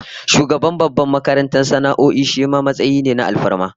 Shugaban babbar makarantar sana'o'i shima matsayi ne na alfarma